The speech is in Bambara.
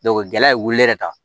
gɛlɛya ye wuli yɛrɛ ta